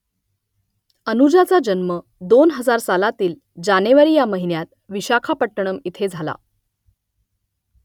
अनुजाचा जन्म दोन हजार पाच सालातील जानेवारी ह्या महिन्यात विशाखापट्टणम इथे झाला